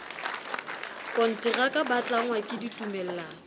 konteraka ba tlangwa ke ditumellano